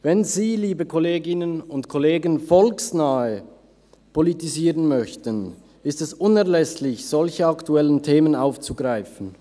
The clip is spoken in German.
Wenn Sie, liebe Kolleginnen und Kollegen, volksnah politisieren möchten, ist es unerlässlich, solche aktuellen Themen aufzugreifen.